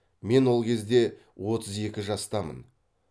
мен ол кезде отыз екі жастамын